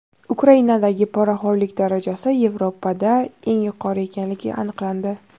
Ukrainadagi poraxo‘rlik darajasi Yevropada eng yuqori ekanligi aniqlandi.